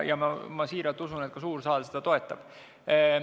Ja ma usun siiralt, et suur saal seda ka toetab.